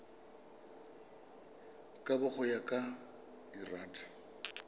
kabo go ya ka lrad